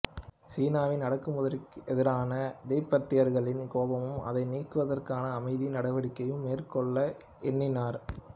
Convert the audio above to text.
சீனாவின் அடக்குமுறைக்கெதிரான திபெத்தியர்களின் கோபமும் அதை நீக்குவதற்கான அமைதி நடவடிக்கையும் மேற்கொள்ள எண்ணினார்